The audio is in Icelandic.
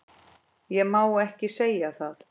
Ég má ekki segja það